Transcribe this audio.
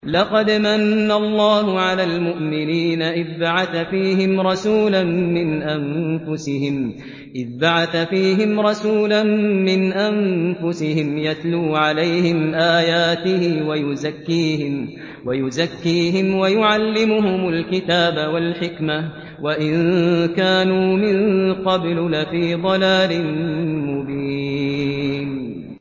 لَقَدْ مَنَّ اللَّهُ عَلَى الْمُؤْمِنِينَ إِذْ بَعَثَ فِيهِمْ رَسُولًا مِّنْ أَنفُسِهِمْ يَتْلُو عَلَيْهِمْ آيَاتِهِ وَيُزَكِّيهِمْ وَيُعَلِّمُهُمُ الْكِتَابَ وَالْحِكْمَةَ وَإِن كَانُوا مِن قَبْلُ لَفِي ضَلَالٍ مُّبِينٍ